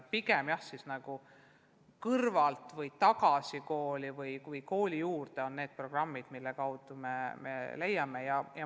Pigem siis otsime kõrvalt ja püüame "Tagasi kooli" või teiste programmide abil mõnedki õpetajad leida.